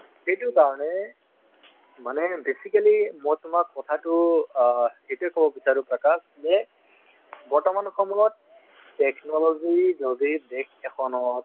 এইটোৰ কাৰণে মানে basically মই তোমাক কথাতো অ সেইটোয়ে ক'ব বিচাৰো প্ৰকাশ যে বৰ্তমান সময়ত technology যদি দেশ এখনত